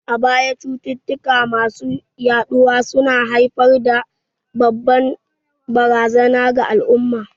A baya, cututtuka masu yaɗuwa su na haifar da babbar barazana ga al'umma.